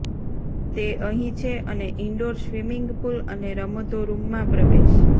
તે અહીં છે અને ઇન્ડોર સ્વિમિંગ પૂલ અને રમતો રૂમમાં પ્રવેશ